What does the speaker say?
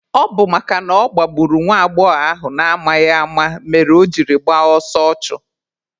Ọ bụ makana ọ gbagburu nwa agbọghọ ahụ n'amaghị ama mere o jiri gbaa ọsọ ọchụ.